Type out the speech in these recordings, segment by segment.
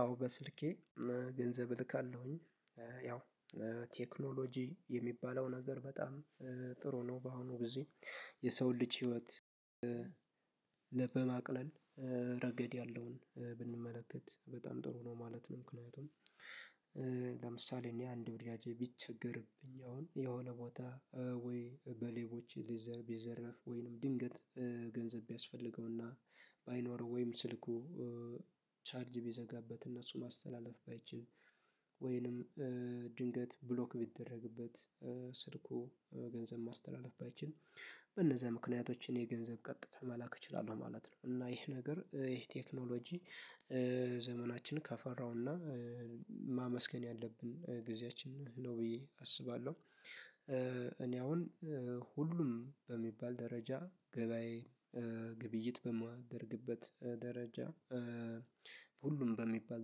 አዎ በስልኬ ገንዘብ እልካለሁኝ። ያው ቴክኖሎጂ የሚባለው ነገር በጣም ጥሩ ነው በአሁኑ ጊዜ የሰው ልጅ ህይወት በማቅለል ረገድ ያለውን ብንመለከት በጣም ጥሩ ነው ማለት። ምክንያቱም ለምሳሌ እኔ አንድ ወዳጄ ቢቸገርብኝ አሁን የሆነ ቦታ ወይ በሌቦች ቢዘረፍ ወይንም ድንገት ገንዘብ ቢያስፈልገውና ባይኖር ወይም ስልኩ ቻርጅ ቢዘጋበት እና እሱ ማስተላለፍ ባይችል ወይንም ድንገት ብሎክ ቢደረግበት ስልኩ ገንዘብ ማስተላለፍ ባይችል በነዛ ምክንያቶች እኔ ገንዘብ ቀጥታ መላክ እችላለሁ ማለት ነው። እና ይህ ነገር ይሄ ቴክኖሎጂ ዘመናችን ካፈራው እና ማመስገን ያለብን ጊዜያችን ነው ብዬ አስባለሁ። እኔ አሁን ሁሉም በሚባል ደረጃ ገበያዬ ግብይት በማደርግበት ደረጃ ሁሉም በሚባል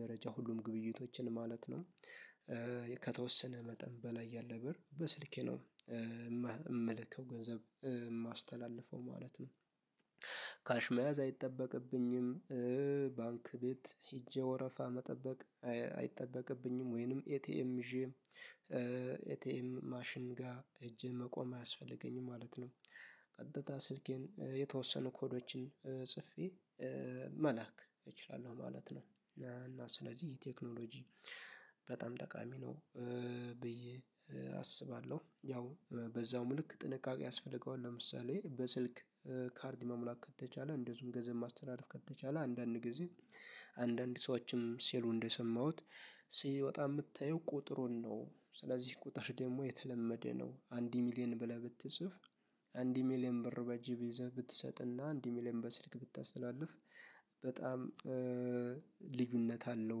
ደረጃ ሁሉም ግብይቶችን ማለት ነው ከተወሰነ መጠን በላይ ያለ በር በስልኬ ነው የምልከው ገንዘብ የማስተላልፈው ማለት ነው። ካሽ መያዝ አይጠበቅብኝም ባንክ ቤት ሄጄ ወረፋ መጠበቅ አይጠበቅብኝም ወይንም ኤቲኤም ይዤ ኤቲኤም ማሽን ጋር ሄጄ መቆም አያስፈልገኝም ማለት ነው። ቀጥታ ስልኬን የተወሰኑ ኮዶችን ጽፌ መላክ እችላለሁ ማለት ነው እና ስለዚህ ቴክኖሎጂ በጣም ጠቃሚ ነው ብዬ አስባለሁ። ያው በዛውም ልክ ጥንቃቄ ያስፈልገዋል ለምሳሌ በስልክ ካርድ መሙላት ከተቻለ እንደዚሁም ገንዘብ ማስተላለፍ ከተቻለ አንዳንድ ጊዜ አንዳንድ ሰዎችም ሴሉ እንደሰማሁት ሲወጣ የምታየው ቁጥሩን ነው ስለዚህ ቁጥር ደግሞ የተለመደ ነው አንድ ሚሊየን ብለህ ብትጽፍ አንድ ሚሊየን ብር በእጅህ ይዘህ ብትሰጥና አንድ ሚሊየን በስልክ ብታስተላልፍ በጣም ልዩነት አለው።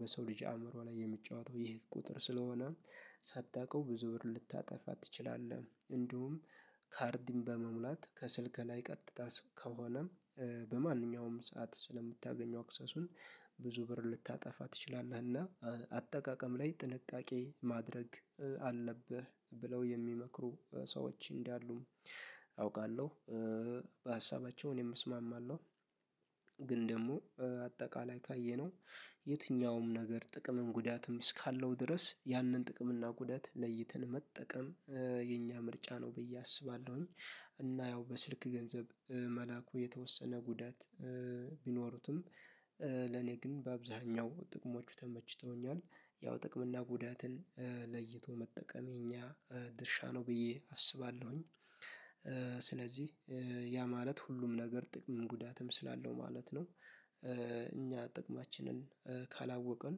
በሰው ልጅ አእምሮ ላይ የሚጫወተው ይሄ ቁጥር ስለሆነ ሳታውቀው ብዙ ብር ልታጠፋ ትችላለህ። እንዲሁም ካርድን በመሙላት ከስልክ ላይ ቀጥታ ከሆነም በማንኛውም ሰዓት ስለምታገኘው አክሰሱን ብዙ ብር ልታጠፋ ትችላለህ። እና አጠቃቀም ላይ ጥንቃቄ ማድረግ አለብህ ብለው የሚመክሩ ሰዎች እንዳሉም አውቃለሁ በሀሳባቸው እኔም እስማማለሁ። ግን ደግሞ አጠቃላይ ካየነው የትኛውም ነገር ጥቅምም ጉዳትም እስካለው ድረስ ያንን ጥቅም እና ጉዳት ለይተን መጠቀም የኛ ምርጫ ነው ብዬ አስባለሁኝ። እና ያው በስልክ ገንዘብ መላኩ የተወሰነ ጉዳት ቢኖሩትም ለኔ ግን በአብዛኛው ጥቅሞቹ ተመችተውኛል ያው ጥቅም እና ጉዳትን ለይቶ መጠቀም የኛ ድርሻ ነው ብዬ አስባለሁኝ። ስለዚህ ያ ማለት ሁሉም ነገር ጥቅም ጉዳትም ስላለው ማለት ነው። እኛ ጥቅማችንን ካላወቅን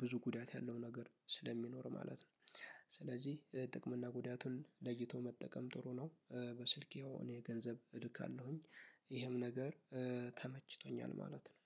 ብዙ ጉዳት ያለው ነገር ስለሚኖር ማለት ነው ስለዚህ ጥቅም እና ጉዳቱን ለይቶ መጠቀም ጥሩ ነው። በስልኬው እኔ ገንዘብ ድካል አለሁኝ ይህም ነገር ተመችቶኛል ማለት ነው